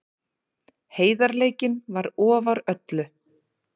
Heiðarleikinn var ofar öllu.